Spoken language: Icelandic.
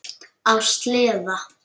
Á sleða.